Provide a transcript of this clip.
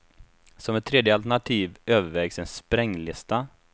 Som ett tredje alternativ övervägs en spränglista.